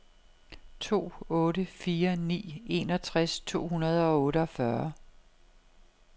to otte fire ni enogtres to hundrede og otteogfyrre